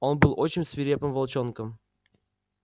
он был очень свирепым волчонком